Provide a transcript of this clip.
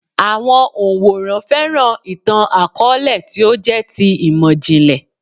Àwọn òǹwòran fẹ́ràn ìtàn-àkọọ́lẹ̀ tí ó jẹ́ ti imọ-jinlẹ